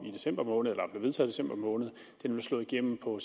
i december måned nu er slået igennem på